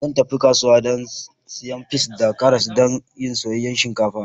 Zan tafi kasuwa dan na siya peas da karas dan yin soyayyan shinkafa.